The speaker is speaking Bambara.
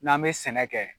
N'an bɛ sɛnɛ kɛ